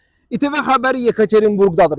ITV xəbər Yekaterinburgdadır.